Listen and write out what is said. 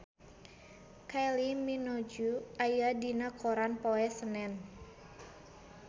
Kylie Minogue aya dina koran poe Senen